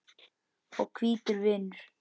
og hvítur vinnur.